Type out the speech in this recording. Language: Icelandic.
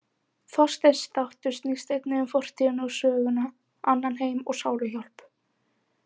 Þorsteins þáttur snýst einnig um fortíðina og söguna, annan heim og sáluhjálp.